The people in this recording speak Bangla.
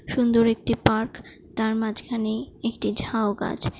সুন্দর একটি পার্ক । তার মাঝখানে একটি ঝাউ গাছ।